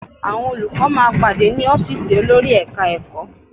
Àwọn olùkọ́ máa pàdé ní ọ́fíìsì olórí Ẹ̀ka-ẹ̀kọ́